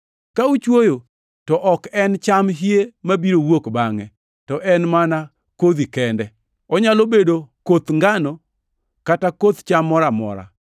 Ka uchwoyo, to ok en cham hie mabiro wuok bangʼe, to en mana kodhi kende. Onyalo bedo koth ngano kata koth cham moro amora.